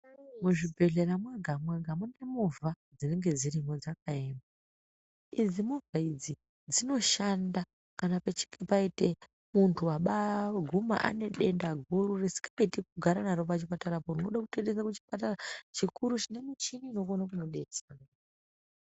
Muzvibhedhlera mwega mwega mune movha dzinenge dzirimwo dzakaema idzi movha idzi dzinoshanda kana pachinge paitika muntu abaiguma ane denda guru risingaiti kugara naro pachipatara po rinode kutoendesa kuchipatara chikuru chinokone kumudetsera.